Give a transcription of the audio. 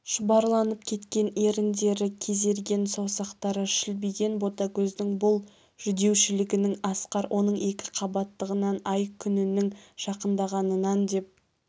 шұбарланып кеткен еріндері кезерген саусақтары шілбиген ботагөздің бұл жүдеушілігін асқар оның екіқабаттығынан ай-күнінің жақындағанынан деп